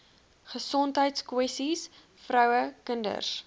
gesondheidskwessies vroue kinders